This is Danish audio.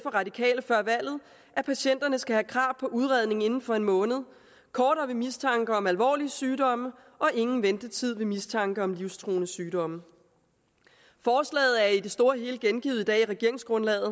og radikale før valget at patienterne skal have krav på udredning inden for en måned kortere ved mistanke om alvorlige sygdomme og ingen ventetid ved mistanke om livstruende sygdomme forslaget er det i det store hele gengivet i regeringsgrundlaget